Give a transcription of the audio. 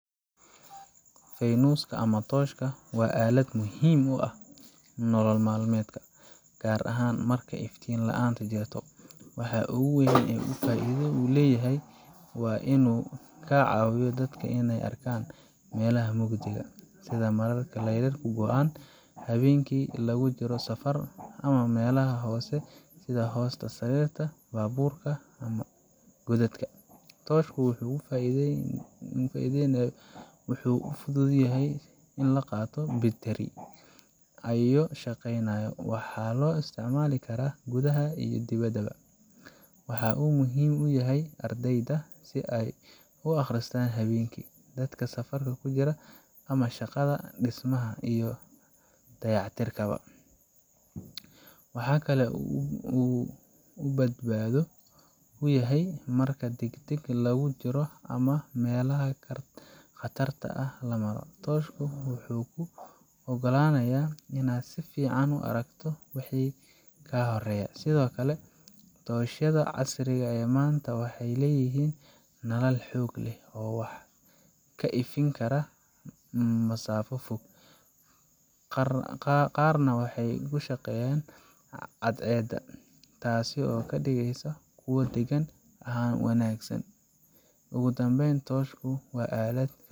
Feynuska ama toshka waa alad muhim u ah nolol maalmedka gaar ahan marka iftin laanta jirto, waxaa ogu weyn oo ogu faida uu leyahay inu kaa caabiyo dadka inay arkaan melaha mugdiga sida mararka lerarka goan, haweenki lugu jiro safar ama melaha hoose sida hoosta sarirta, baburka ama gudadka. Toshku wuxu u fudud yahay in laqaato bitiri ayo shaqeynayo, waxaa loo isticmaalika karaa gudaha iyo dibada ba, wuxuu muhim uyahay ardeyda si ay u aqristan haweenki, dadka safarka kujira ama shaqada dhismaha iyo dayac tirkaba, waxakake u ubadbaado uyahay marka degdeg lugu jiro ama melaha qatarta ah lamaaro, toshku wuxuu ogalanaya inad si fican u aragto wixii kaa horeyo ,sidokale toshyada casriga ee manta waxay leyihin nalal xog leh ka ifin karaa masafa fog, qaar na waxay kushaqeeyan cad ceeda taaso kadhigeyso dhegan han wanaagsan. ogu dambeyn toshku waa alad